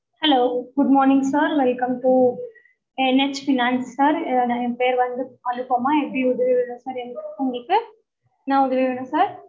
hello good morning sir welcome to NHP card என் பேரு வந்து அனுபமா எப்படி உதவி வேணும் sir உங்களுக்கு என்ன உதவி வேணும் sir